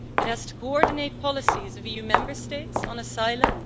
It has to coordinate policies of EU Member States on asylum.